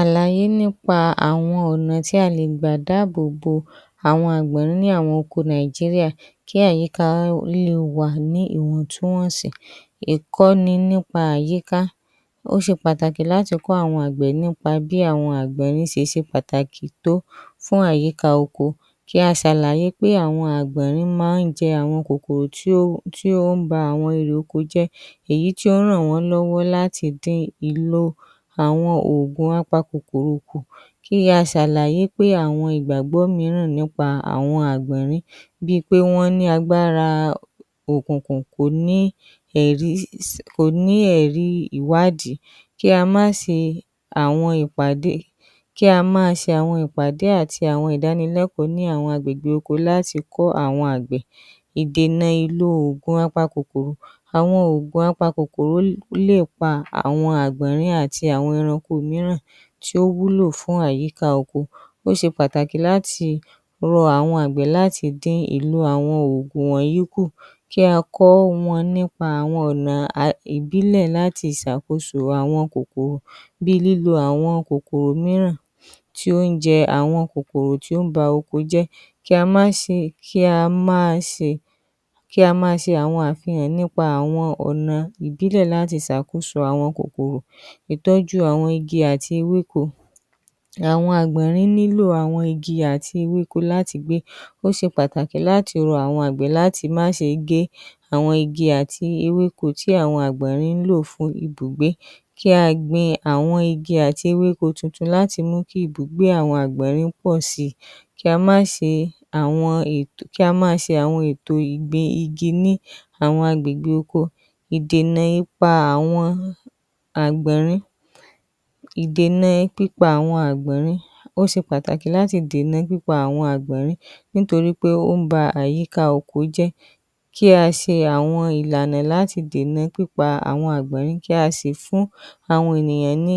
Àlàyé nípa àwọn ọ̀nà tí a le gbà dáàbò bo àwọn àgbọ̀nrín ní àwọn oko Nàìjíríà kí àyíká wọn le wà ní ìwọ̀ntúnwọ̀nsì, ìkọ́ni nípa àyíká, ó ṣe pàtàkì láti kọ́ àwọn àgbẹ̀ nípa bí àwọn àgbọ̀nrín ṣe ṣe pàtàkì tó fún àyíká oko, a ṣàlàyé pé àwọn àgbọ̀nrín máa ń jẹ àwọn kòkòrò tí ó ń ba àwọn irè oko jẹ́ èyí tí ó ń ràn wọ́n lọ́wọ́ láti dín ìlò àwọn òògùn apakòkòrò kù, kí a ṣàlàyé pé àwọn ìgbàgbọ́ mìíràn nípa àwọn àgbọ̀nrín bíi pé wọ́n ní agbára òkùnkùn kò ní ẹ̀rí ìwádìí, kí a máa ṣe àwọn ìpàdé àti àwọn ìdánilẹ́kọ̀ọ́ ní àwọn àgbègbè oko láti kó àwọn àgbẹ̀. ‎ ìdènà ìlò oògùn apakòkòrò :àwọn oògùn apakòkòrò lè pa àwọn àgbọ̀nrín àti àwọn ẹranko mìíràn tí ó wúlò fún àyíká oko, ó ṣe pàtàkì láti rọ àwọn àgbẹ̀ láti dín ìlò àwọn oògùn wọ̀nyí kù, kí a kọ́ wọn ní ọ̀nà ìbílẹ̀ láti ṣàkóso àwọn kòkòrò bíi lílo àwọn kòkòrò mìíràn tí ó ń jẹ àwọn kòkòrò tí ó ń ba oko jẹ́ kí á máa ṣe àwọn àfihàn nípa àwọn ọ̀nà ìbílẹ̀ láti ṣe àtúnṣe àwọn kòkòrò, ìtọ́jú àwọn igi àti ewéko, àwọn àgbọ̀nrín nílò igi àti ewéko láti gbé, ó ṣe pàtàkì láti rọ àwọn àgbẹ̀ láti má ṣe gé àwọn igi àti ewéko tí àwọn àgbọ̀nrín ń lò fún ibùgbé kí a gbin àwọn igi àti ewéko tuntun láti mú kí ibùgbé àwọn àgbọ̀nrín pọ̀ sí í, kí á máa ṣe ètò ìgbìn igi ní àwọn àgbègbè ọkọ. ‎Ìdènà pípa àwọn àgbọ̀nrín :ó ṣe pàtàkì láti dènà pípa àwọn àgbọ̀nrín, nítorí pé ó ń ba àyíká oko jẹ́ kí á ṣe àwọn ìlànà láti dènà pípa àwọn àgbọ̀nrín tí a ṣe fún àwọn ènìyàn ní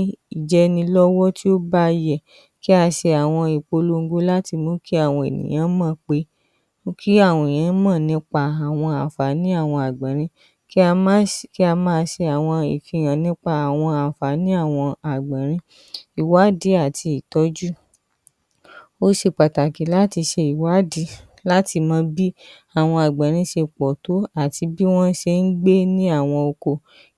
jẹni lọ́wọ́ tí ó bá yẹ̀, tí a ṣe ìpolongo láti jẹ́ kí àwọn ènìyàn mọ̀ nípa àǹfààní àwọn àgbọ̀nrín, kí a máa ṣe àwọn àfihàn nípa àwọn àǹfààní àwọn àgbọ̀nrín. ‎Ìwádìí àti ìtọ́jú: ó ṣe pàtàkì láti ṣe ìwádìí bí àwọn àgbọ̀nrín ṣe pọ̀ tó àti bí wọ́n ṣe ń gbé ní àwọn oko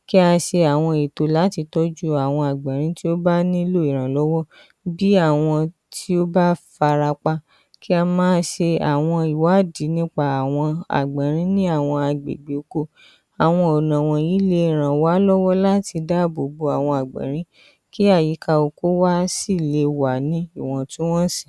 kí a ṣe àwọn ètò láti tọ́jú àwọn àgbọ̀nrín tí ó bá nílò ìrànlọ́wọ́ bí àwọn tó bá fara pa kí a máa ṣe àwọn ìwádìí nípa àwọn àgbọ̀nrín ní àwọn àgbègbè oko, àwọn ọ̀nà wọ̀nyí le ràn wá lọ́wọ́ láti dáàbò bo àwọn àgbọ̀nrín kí àwọn àyíká oko wa lè wà ní ìwọ̀ntúnwọ̀nsì.